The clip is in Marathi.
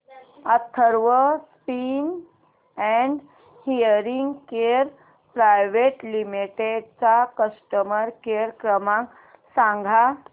Atharva speech and hearing care private limited चा कस्टमर केअर क्रमांक सांगा